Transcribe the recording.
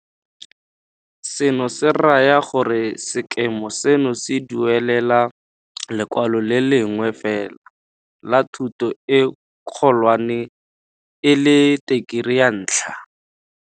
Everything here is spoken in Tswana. Seno se raya gore sekema seno se duelela lekwalo le le lengwe fela la thuto e kgolwane e leng Tekerii ya Ntlha.